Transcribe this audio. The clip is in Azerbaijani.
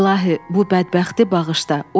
İlahi, bu bədbəxti bağışla.